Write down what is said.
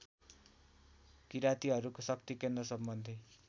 किरातीहरूको शक्तिकेन्द्र सम्बन्धी